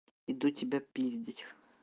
иду тебя пиздить